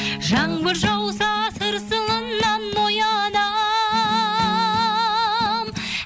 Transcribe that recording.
жаңбыр жауса тырсылынан оянам